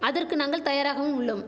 அதற்கு நாங்கள் தயாராகவும் உள்ளோம்